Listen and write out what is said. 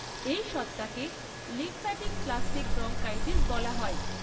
এই সত্তাকে lymphatic plastic bronchitis বলা হয়।